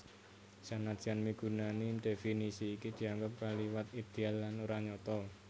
Senadyan migunani definisi iki dianggep kaliwat idéal lan ora nyata